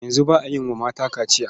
Yanzu ba a yi wa mata kaciya.